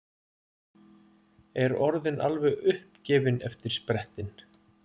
Er orðin alveg uppgefin eftir sprettinn.